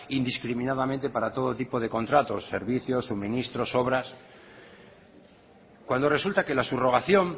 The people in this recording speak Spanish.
indiscriminadamente para todo tipo de contratos servicios suministros obras cuando resulta que la subrogación